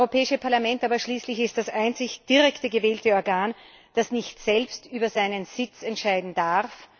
Das Europäische Parlament ist schließlich das einzige direkt gewählte Organ, das nicht selbst über seinen Sitz entscheiden darf.